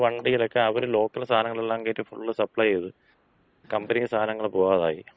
വണ്ടീലക്ക അവര് ലോക്കൽ സാധനങ്ങളെല്ലാം കേറ്റി ഫുൾ സപ്ലൈ ചെയ്ത്, കമ്പനി സാധനങ്ങള് പോകാതായി.